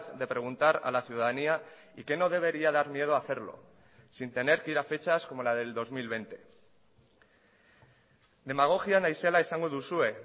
de preguntar a la ciudadanía y que no debería dar miedo hacerlo sin tener que ir a fechas como la del dos mil veinte demagogia naizela esango duzue